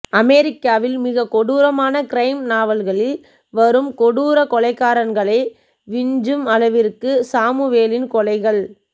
அமெரிக்காவில் மிகக் கொடூரமான கிரைம் நாவல்களில் வரும் கொடூர கொலைகாரன்களை விஞ்சும் அளவிற்கு சாமுவேலின் கொலைகள்